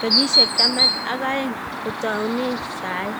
kenyisiek taman ak aeng kotounen sai